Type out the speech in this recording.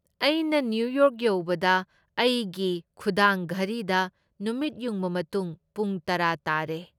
ꯑꯩꯅ New York ꯌꯧꯕꯗ ꯑꯩꯒꯤ ꯈꯨꯗꯥꯡ ꯘꯔꯤꯗ ꯅꯨꯃꯤꯠꯌꯨꯡꯕ ꯃꯇꯨꯡ ꯄꯨꯡ ꯇꯔꯥ ꯇꯥꯔꯦ ꯫